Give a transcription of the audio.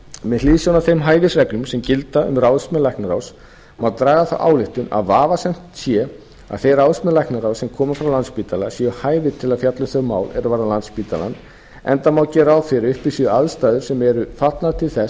með hliðsjón af þeim hæfisreglum sem gilda um ráðsmenn læknaráðs má draga þá ályktun að vafasamt sé að þeir ráðsmenn læknaráðs sem koma frá landspítala séu hæfir til að fjalla um þau mál er varða landspítalann enda má gera ráð fyrir að uppi séu aðstæður sem eru fallnar til þess